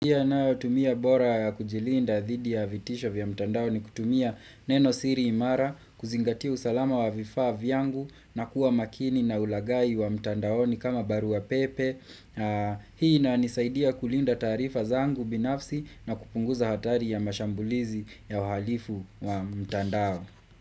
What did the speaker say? Tumia bora ya kujilinda dhidi ya vitisho vya mtandao ni kutumia neno siri imara kuzingatia usalama wa vifaa vyangu na kuwa makini na ulagai wa mtandao ni kama baru wa pepe Hii na nisaidia kulinda tarifa zangu binafsi na kupunguza hatari ya mashambulizi ya uhalifu wa mtandao.